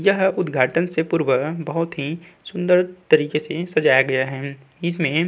यह उद्घाटन से पूर्व बहौत ही सुंदर तरीके से सजाया गया है। इसमें --